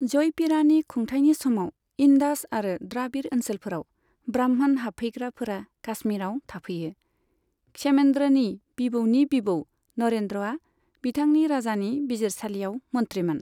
जयपीड़ानि खुंथाइनि समाव इन्डास आरो द्राबिड़ ओनसोलफोराव ब्राह्मण हाबफैग्राफोरा काश्मीराव थाफैयो, क्षेमेन्द्रनि बिबौनि बिबौ नरेन्द्रआ बिथांनि राजानि बिजिरसालियाव मन्थ्रिमोन।